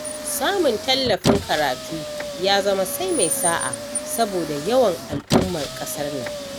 Sanmun tallafin karatu ya zama sai mai sa'a, saboda yawan al'ummar ƙasar nan.